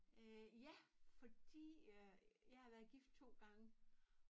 Øh ja fordi øh jeg har været gift 2 gange